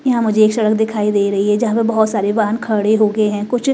यहां मुझे एक सड़क दिखाई दे रही है जहां पर बहुत सारे वाहन खड़े हो गए हैं कुछ--